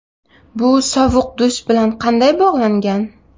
Bu sovuq dush bilan qanday bog‘langan?